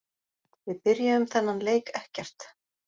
Við byrjuðum þennan leik ekkert.